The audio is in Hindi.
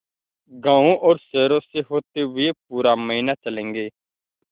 गाँवों और शहरों से होते हुए पूरा महीना चलेंगे